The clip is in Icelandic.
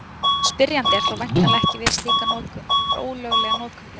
Spyrjandi á þó væntanlega ekki við slíka notkun, heldur ólöglega notkun þeirra.